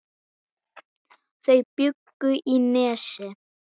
Þau bjuggu í Nesi.